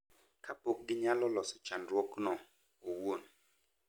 Kapok ginyalo loso chandruokno owuon.